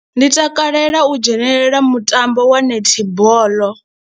Ndi takalela u dzhenela mutambo wa netball.